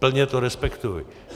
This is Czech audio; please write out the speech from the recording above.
Plně to respektuji.